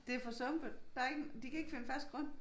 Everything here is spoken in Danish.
Det for sumpet de kan ikke finde fast grund